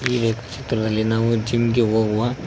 ಈ ವ್ಯ ಚಿತ್ರದಲ್ಲಿ ನಾವು ಜಿಮ್ ಗೆ ಹೋಗುವ--